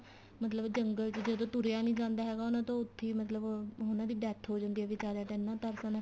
ਮਤਲਬ ਜੰਗਲ ਚ ਜਦੋਂ ਤੁਰਿਆ ਨੀਂ ਜਾਂਦਾ ਹੈਗਾ ਉਹਨਾ ਤੋਂ ਉਥੇ ਈ ਮਤਲਬ ਉਹਨਾ ਦੀ death ਹੋ ਜਾਂਦੀ ਏ ਬਿਚਾਰੀਆਂ ਤੇ ਇੰਨਾ ਤਰਸ ਆਂਦਾ